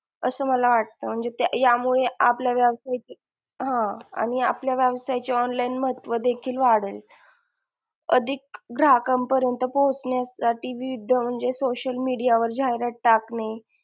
असं मला वाटत म्हणजे त्या यामुळे आपल्या व्यवसायाची हा आणि आपल्या व्यवसायची online महत्व देखील वाढल अधिक ग्राहकांपरीयंत पोहोचण्यासाठी विविध म्हणजे social media वर जाहिरात टाकणे,